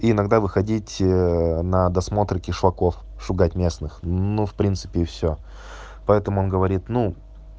иногда выходить на досмотр кишлаков шугать местных ну в принципе всё поэтому он говорит ну